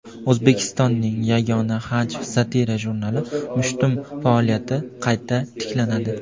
O‘zbekistonning yagona hajv (satira) jurnali "Mushtum" faoliyati qayta tiklanadi.